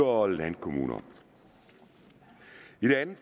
og landkommuner i det andet